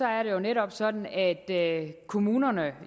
er jo netop sådan at kommunerne